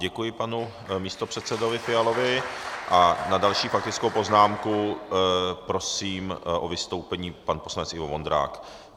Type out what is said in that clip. Děkuji panu místopředsedovi Fialovi a na další faktickou poznámku prosím o vystoupení pana poslance Ivo Vondráka.